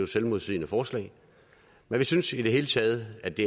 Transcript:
selvmodsigende forslag vi synes i det hele taget at det